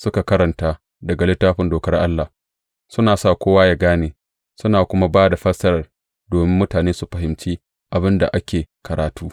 Suka karanta daga Littafin Dokar Allah, suna sa kowa ya gane, suna kuma ba da fassarar domin mutane su fahimci abin da ake karatu.